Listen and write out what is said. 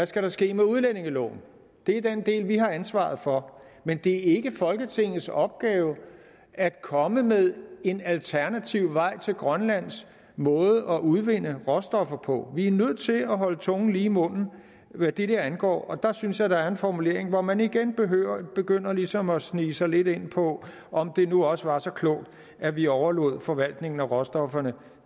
skal ske med udlændingeloven det er den del vi har ansvaret for men det er ikke folketingets opgave at komme med en alternativ vej til grønlands måde at udvinde råstoffer på vi er nødt til at holde tungen lige i munden hvad det der angår og der synes jeg at der er en formulering hvor man igen begynder ligesom at snige sig lidt ind på om det nu også var så klogt at vi overlod forvaltningen af råstofferne